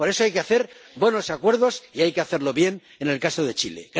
Por eso hay que hacer buenos acuerdos y hay que hacerlo bien en el caso de Chile.